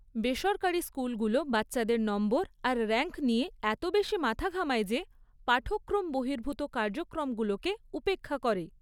বেসরকারি স্কুলগুলো বাচ্চাদের নম্বর আর র‍্যাঙ্ক নিয়ে এত বেশি মাথা ঘামায় যে পাঠক্রম বহির্ভূত কার্যক্রমগুলোকে উপেক্ষা করে।